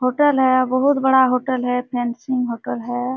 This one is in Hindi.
होटल है बहुत बड़ा होटल है फैंसीइंग होटल है।